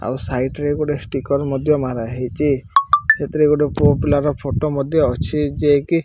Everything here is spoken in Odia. ଆଉ ସାଇଟ ରେ ଗୋଟେ ଷ୍ଟିକର ମଧ୍ୟ ମାରା ହେଇଚି ସେଥିରେ ଗୋଟେ ପୁଅ ପିଲାର ଫଟୋ ମଧ୍ୟ ଅଛି ଯେ କି --